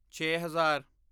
ਛੇ ਹਜ਼ਾਰ